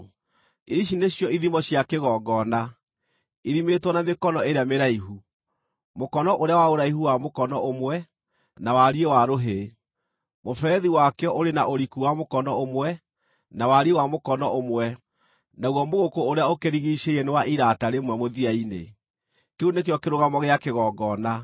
“Ici nĩcio ithimo cia kĩgongona, ithimĩtwo na mĩkono ĩrĩa mĩraihu, mũkono ũrĩa wa ũraihu wa mũkono ũmwe na wariĩ wa rũhĩ : Mũberethi wakĩo ũrĩ na ũriku wa mũkono ũmwe, na wariĩ wa mũkono ũmwe, naguo mũgũkũ ũrĩa ũkũrigiicĩirie nĩ wa irata rĩmwe mũthia-inĩ. Kĩu nĩkĩo kĩrũgamo gĩa kĩgongona.